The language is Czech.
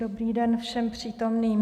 Dobrý den všem přítomným.